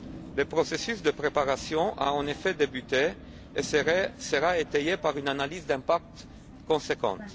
Le processus de préparation a, en effet, débuté et sera étayé par une analyse d'impact conséquente.